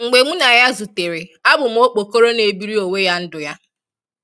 Mgbe mụ na ya zụtere, abụ m okpokoro na-ebiri onwe ya ndụ ya